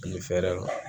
Ani fɛrɛ